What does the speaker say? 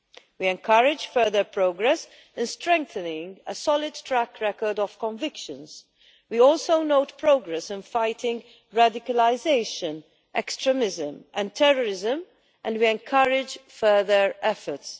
We encourage further progress in strengthening a solid track record of convictions. We also note progress in fighting radicalisation, extremism and terrorism, and we encourage further efforts.